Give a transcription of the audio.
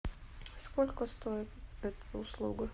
сколько стоит эта услуга